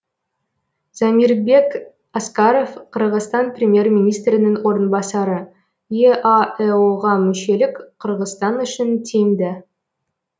замирбек аскаров қырғызстан премьер министрінің орынбасары еаэо ға мүшелік қырғызстан үшін тиімді